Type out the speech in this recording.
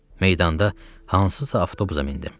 Meydanda hansısa avtobusa mindim.